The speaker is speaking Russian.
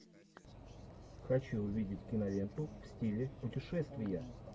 хочу увидеть киноленту в стиле путешествия